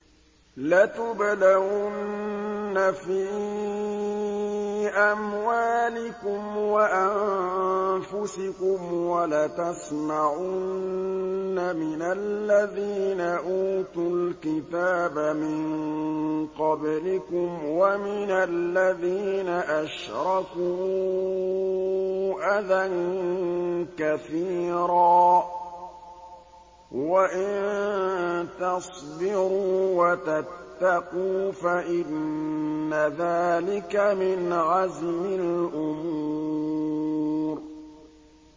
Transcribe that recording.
۞ لَتُبْلَوُنَّ فِي أَمْوَالِكُمْ وَأَنفُسِكُمْ وَلَتَسْمَعُنَّ مِنَ الَّذِينَ أُوتُوا الْكِتَابَ مِن قَبْلِكُمْ وَمِنَ الَّذِينَ أَشْرَكُوا أَذًى كَثِيرًا ۚ وَإِن تَصْبِرُوا وَتَتَّقُوا فَإِنَّ ذَٰلِكَ مِنْ عَزْمِ الْأُمُورِ